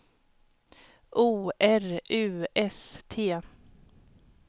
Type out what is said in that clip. O R U S T